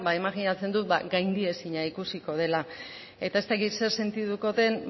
imajinatzen dut gaindiezina ikusiko dela eta ez dakit zer sentituko den